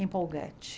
Empolgante.